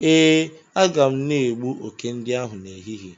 Ee, a ga m na egbu oke ndi ahu n'ehihie